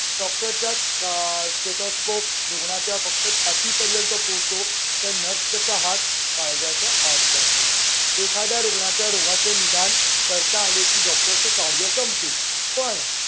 डॉक्टरच्या आह Stethoscope रुग्णाच्या फक्त छातीपर्यंत पोहोचतो. तर nurse चा हात काळजाच्या आत जातो. एखाद्या रुग्णाच्या रोगाचे निदान करता आले की डॉक्टर चे कार्य संपते, पण